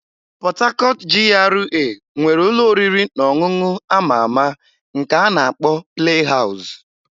Port Harcourt GRA nwere ụlọ oriri na ọṅụṅụ a ma ama nke a na-akpọ "Play House".